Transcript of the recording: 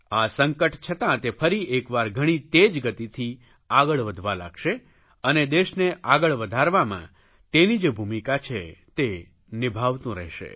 આ સંકટ છતાં તે ફરી એક વાર ઘણી તેજ ગતિથી આગળ વધવા લાગશે અને દેશને આગળ વધારવામાં તેની જે ભૂમિકા છે તે નિભાવતું રહેશે